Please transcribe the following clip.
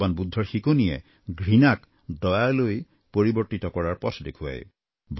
ভগবান বুদ্ধৰ শিকনিয়ে ঘৃণাক দয়ালৈ পৰিৱৰ্তিত কৰাৰ পথ দেখুৱায়